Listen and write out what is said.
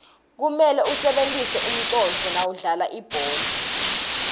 kumele usebentise umconduo nawudlala libhola